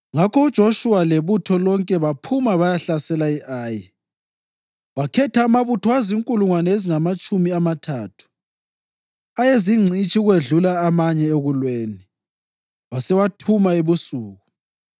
Ngakho uJoshuwa lebutho lonke baphuma bayahlasela i-Ayi. Wakhetha amabutho azinkulungwane ezingamatshumi amathathu ayezingcitshi ukwedlula amanye ekulweni, wasewathuma ebusuku.